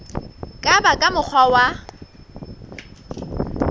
ka ba ka mokgwa wa